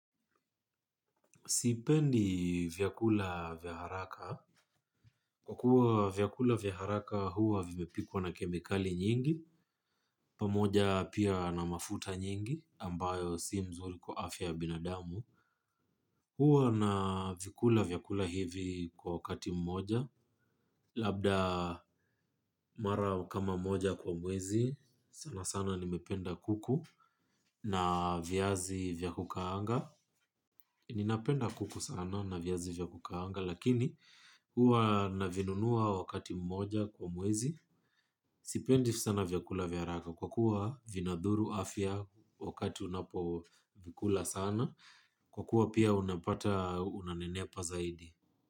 Sipendi vyakula vya haraka. Kwa kuwa vyakula vya haraka huwa vimepikwa na kemikali nyingi pamoja pia na mafuta nyingi ambayo si nzuri kwa afya ya binadamu. Huwa na vikula vyakula hivi kwa wakati mmoja. Labda mara kama moja kwa mwezi sana sana nimependa kuku na viazi vya kukaanga. Ninapenda kuku sana na viazi vya kukaanga lakini huwa na vinunua wakati mmoja kwa mwezi. Sipendi sana vyakula vyaraka kwa kuwa vinadhuru afya wakati unapo vikula sana kwa kuwa pia unapata unanenepa zaidi.